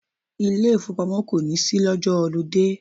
Ilé ìfowópamọ́ kò ní ṣí lọ́jọ́ họludé.